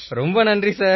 ரொம்ப நன்றி சார்